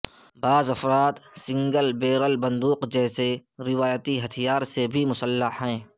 بعض افراد single barrel بندوق جیسے روایتی ہتھیار سے بھی مسلح ہیں